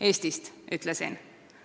"Eestist," ütlesin.